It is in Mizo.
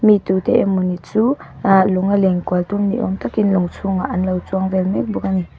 mi tute emawni chu ahh lawnga lenkual tum ni awm takin lawng chhungah an lo chuang vel mek bawk ani.